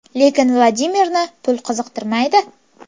Lekin Vladimirni pul qiziqtirmaydi.